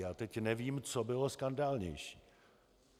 Já teď nevím, co bylo skandálnější.